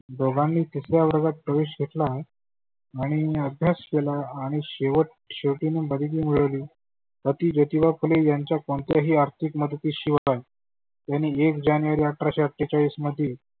दोघांनी तिसऱ्या वर्गात प्रवेश घेतला. आणि आभ्यास केला आणि शेवट शेवटी मग बडगी मिळवली. पती ज्योतीबा फुले यांच्या कोणत्याही आर्थीक मदती शिवाय त्यांनी एक जानेवारी आठराशे अठ्ठेचाळीस मध्ये